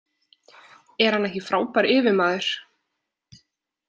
Er hann ekki frábær yfirmaður?